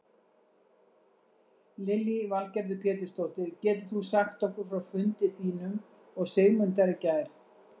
Lillý Valgerður Pétursdóttir: Getur þú sagt okkur frá fundi þínum og Sigmundar í gær?